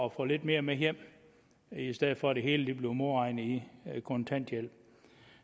at få lidt mere med hjem i stedet for at det hele bliver modregnet i i kontanthjælpen